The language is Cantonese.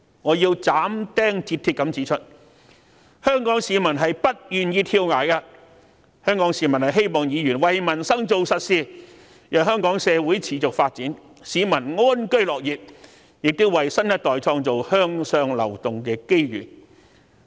我要斬釘截鐵地指出，香港市民是不願意跳崖的，香港市民希望議員為民生做實事，讓香港社會持續發展，市民安居樂業，亦要為新一代創作向上流動的機遇。